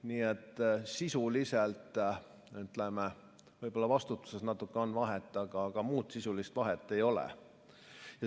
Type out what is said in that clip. Nii et sisuliselt võib-olla vastutuses natuke on vahet, aga muud sisulist vahet ei ole.